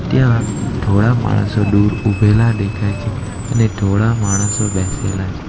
ત્યાં થોડા માણસો દૂર ઊભેલા દેખાય છે અને થોડા માણસો બેસેલા છે.